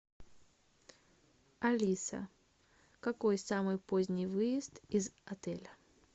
алиса какой самый поздний выезд из отеля